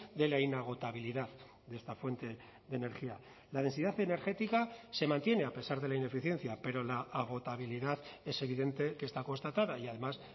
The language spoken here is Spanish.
de la inagotabilidad de esta fuente de energía la densidad energética se mantiene a pesar de la ineficiencia pero la agotabilidad es evidente que está constatada y además